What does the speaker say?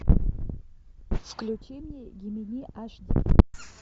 включи мне гемини аш ди